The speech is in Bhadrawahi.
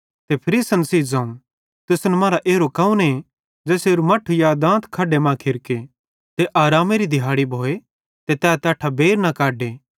ते फरीसन सेइं ज़ोवं तुसन मरां एरो कौने ज़ेसेरू मट्ठू या दांत खड्डे मां खिरके ते आरामेरी दिहाड़ी भोए ते तैस तैट्ठां बेइर न कढे